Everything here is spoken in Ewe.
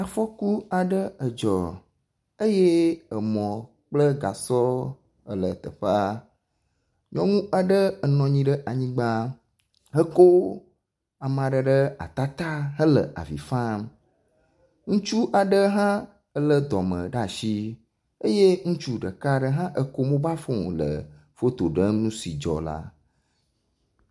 Afɔku aɖe dzɔ eye emɔ kple gasɔ le teƒea. Nyɔnu aɖe enɔ anyi ɖe anyigba hekɔ ame aɖe ɖe ata ta hele avi fam eye ŋutsu aɖe hã lé dɔme ɖe asi eye ŋutsu ɖeka hã ekɔ mobal fon le foto ɖem nu si dzɔ la.